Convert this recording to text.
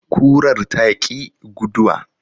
Kurar ta ƙi guduwa.